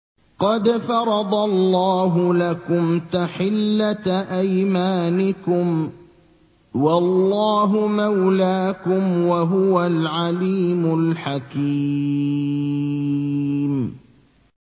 قَدْ فَرَضَ اللَّهُ لَكُمْ تَحِلَّةَ أَيْمَانِكُمْ ۚ وَاللَّهُ مَوْلَاكُمْ ۖ وَهُوَ الْعَلِيمُ الْحَكِيمُ